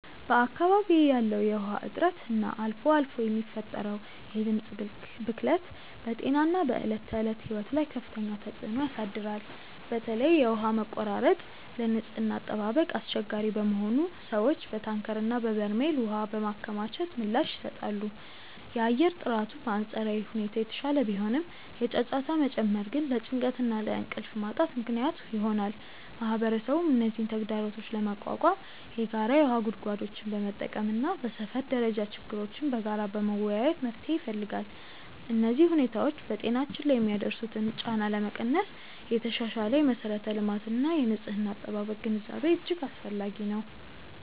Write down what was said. በአካባቢዬ ያለው የውሃ እጥረት እና አልፎ አልፎ የሚፈጠረው የድምፅ ብክለት በጤናና በዕለት ተዕለት ሕይወት ላይ ከፍተኛ ተጽዕኖ ያሳድራል። በተለይ የውሃ መቆራረጥ ለንጽህና አጠባበቅ አስቸጋሪ በመሆኑ ሰዎች በታንከርና በበርሜል ውሃ በማከማቸት ምላሽ ይሰጣሉ። የአየር ጥራቱ በአንጻራዊ ሁኔታ የተሻለ ቢሆንም፣ የጫጫታ መጨመር ግን ለጭንቀትና ለእንቅልፍ ማጣት ምክንያት ይሆናል። ማህበረሰቡም እነዚህን ተግዳሮቶች ለመቋቋም የጋራ የውሃ ጉድጓዶችን በመጠቀምና በሰፈር ደረጃ ችግሮችን በጋራ በመወያየት መፍትሄ ይፈልጋል። እነዚህ ሁኔታዎች በጤናችን ላይ የሚያደርሱትን ጫና ለመቀነስ የተሻሻለ የመሠረተ ልማትና የንጽህና አጠባበቅ ግንዛቤ እጅግ አስፈላጊ ነው።